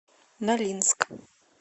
нолинск